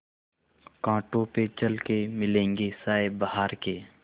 कांटों पे चल के मिलेंगे साये बहार के